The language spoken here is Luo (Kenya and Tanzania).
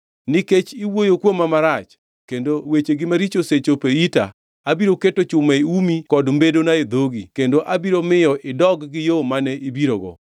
Nikech iwuoyo kuoma marach, kendo wechegi maricho osechopo e ita, abiro keto chuma e umi kod mbedona e dhogi kendo abiro miyo idog gi yo mane ibirogo.’